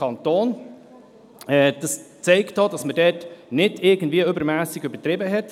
Dies zeigt, dass man nicht übertrieben hat.